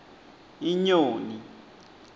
inyoni